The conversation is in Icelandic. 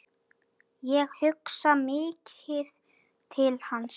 Ég hugsa mikið til hans.